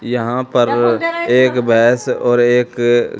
यहां पर एक बस और एक अ--